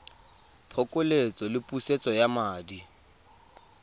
phokoletso le pusetso ya madi